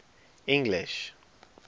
english